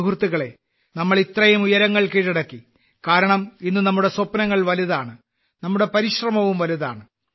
സുഹൃത്തുക്കളേ നാം ഇത്രയും ഉയരങ്ങൾ കീഴടക്കി കാരണം ഇന്ന് നമ്മുടെ സ്വപ്നങ്ങൾ വലുതാണ് നമ്മുടെ പരിശ്രമവും വലുതാണ്